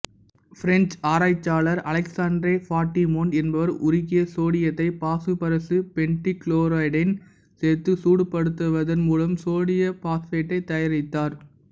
French ஆராய்ச்சியாளர் அலெக்சாண்ட்ரே பாட்ரிமோன்ட்டு என்பவர் உருகிய சோடியத்தை பாசுபரசு பென்டாகுளோரைடுடன் சேர்த்து சூடுபடுத்துவதன் மூலம் சோடியம் பாசுபைட்டை தயாரித்தார்